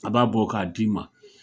A b'a bɔ k'a d'i ma